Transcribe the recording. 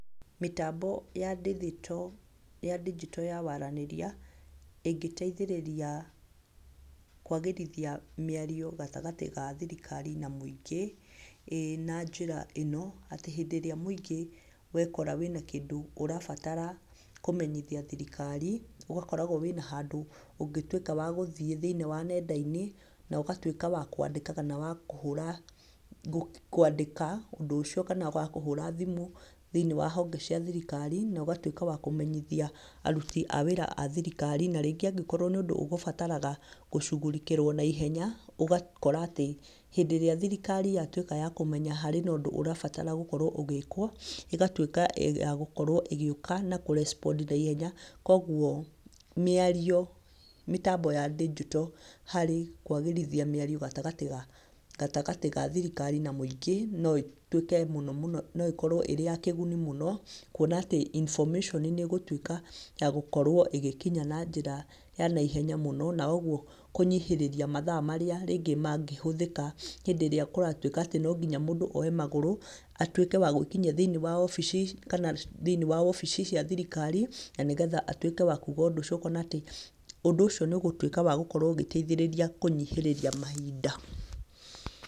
Mĩtambo ya ndigito, ya ndigito ya waranĩria, ingĩteithĩrĩria kũagĩrithia mĩario gatagatĩ ga thirikari na mũingĩ, ĩĩ na njĩra ĩno, atĩ hĩndĩ ĩrĩa mũingĩ wekora wĩna kĩndũ ũrabatara kũmenyithia thirikari, ũgakoragwo wĩ na handũ ũngĩtuĩkaga wa gũthiĩ thĩiniĩ wa ng'enda-inĩ, na ũgatuĩka wa kũandĩkaga, kana wa kũhũraga kũandĩka ũndũ ũcio kana wakũhũra thimũ, thĩiniĩ wa honge cia thirikari na ũgatuĩka wa kũmenyithia aruti a wĩra a thirikari. Na rĩngĩ nĩ ũndũ ũgũbataraga gũcugurĩkĩrwo naihenya, ũgakora atĩ, hĩndĩ ĩrĩa thirikari yatuĩka yakũmenya harĩ na ũndũ ũrabatara gũkorwo ũgĩkwo, ĩgatuĩka ya yagũkorwo ĩgĩũka na kũ respond naihenya. Koguo mĩario, mĩtambo ya ndigito harĩ kwagĩrithia mĩario gatagatĩ ga thirikari na mũingĩ, no ĩtuĩke mũno mũno, no ĩkorwo ĩrĩ ya kĩguni mũno, kwona atĩ information nĩ ĩgũtuĩka yagũkorwo ĩgĩkinya na njĩra ya naihenya mũno, na ũguo kũnyihĩrĩria mathaa marĩa nĩngĩ mangĩhũthĩka hĩndĩ ĩrĩa kũratuĩka no nginya mũndũ oye magũrũ, atũĩke wa gũĩkinyia thĩiniĩ wobici kana thĩiniĩ wa wobici cia thirikari, na nĩgetha atuĩke wa kuuga ũndũ, na ũndũ ũcio ũtuĩke wa gũteithĩrĩria kũnyihĩrĩria mahinda.